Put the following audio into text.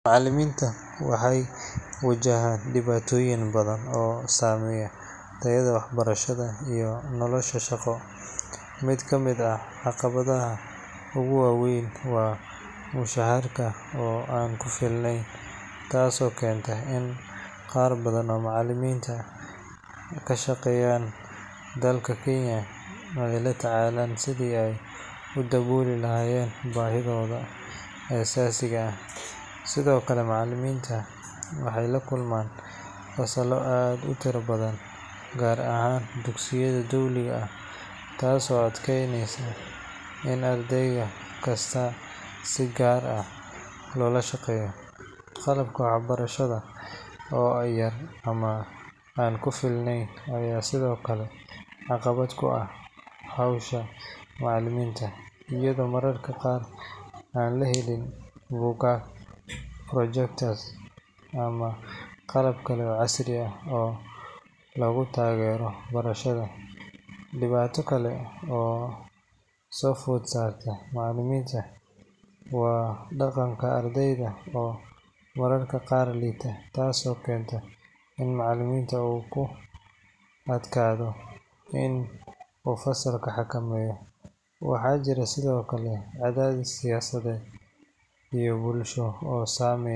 Macaliminta waxee wajahan diwatoyin badan oo sameya tayaada wax barashaada iyo nolosha shaqo miid kamiid ah caqawadaha ugu wawen waa dacarka oo an kifilnen tas oo kentay qar badan oo macaliminta kashaqeyan dalka kenya ee la tacalan si ee udawoli lahayen ee asasiga ah, macaliminta waxee laakulman fasalo aad utira badan si kasta qalabka wax barashaada oo tar ama an ku filnen, ama qalab kale oo casri ah, in macaliminta u kuadkadho fasalka xakameyo cadadis fasaleed.